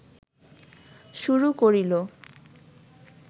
শুরু করিল